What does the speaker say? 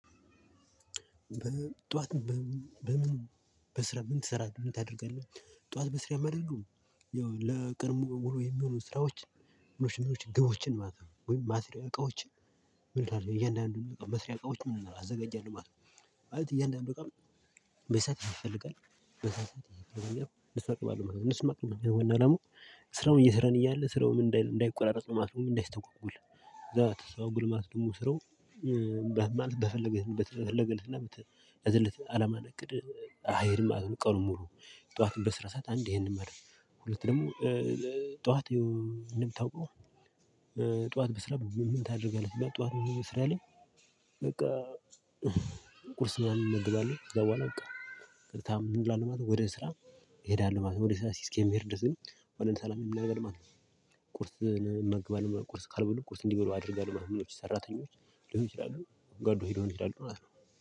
በጠዋት በምን በስራ ምን ትሰራለህ? ምን ታደርጋለህ? ጠዋት በስራ ማደርገው ያው ለቀን ሙሉ ውሎ የሚሆኑ ስራዎች። ማሽኖች ግቦችን ማለት ነው ወይም እቃዎችን ምን እያንዳንዱን መስሪያ እቃዎች ምንድነው አዘጋጃለሁ ማለት ነው። ማለት እያንዳንዱ እቃ በሰዐት ይፈለጋል በሰዐት ያስፈልጋል እነሱን አቀርባለው ማለት ነው እነሱን ማቅረብ ነው ዋና አላማው። ስራውን እየሰራን እያለ ስራውም እንዳይቆራረጥ ማለት ነው እንዳይስተጓጎል እዛ ተስተጓጎለ ማለት ደግሞ ስራው። በፈለገለትና በተፈለገበትና በተያዘለት አላማና እቅድ አይሄድም ማለት ነው። ቀኑን ሙሉ ጠዋትም በስራ ሰዓት አንዴ ይሄንን መር ሁለት ደግሞ ጠዋት እንደሚታውቀው። ጠዋት በስራ ምን ታደርጋለህ ጠዋት ምን ስራ ላይ? በቃ ቁርስ ምናምን እመገባለሁ። ከዛ በኋላ በቃ ቀጥታ ምን እላለው ማለት ነው ወደ ስራ ሄዳለው ማለት ነው። ወደ ስራ እስከምሄድ ድረስ ግን አሁን ለምሳሌ ምን አደርጋለው ማለት ነው። ቁርስ መግባለው ቁርስ ካልበሉ ቁርስ እንዲበሉ አደርጋለሁ ምኖች ሰራተኞች ሊሆኑ ይችላሉ ጓደኞች ሊሆኑ ይችላሉ ማለት ነው።